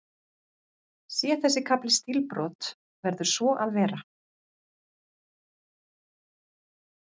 Sé þessi kafli stílbrot, verður svo að vera.